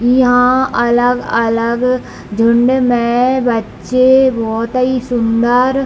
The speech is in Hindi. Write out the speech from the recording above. इहां अलग-अलग झुण्ड में बच्चे बहोत ही सुंदर --